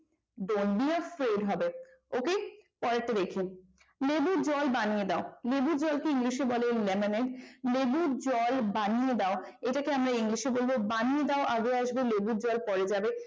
dont be afraid হবে ok পরেরটা দেখি। লেবু জল বানিয়ে দাও লেবুর জলকে english বলে lemonade লেবুর জল বানিয়ে দাও এটাকে আমরা ইংলিশে বলবো বানিয়ে দাও আগে আসবে লেবুর জল পড়ে যাবে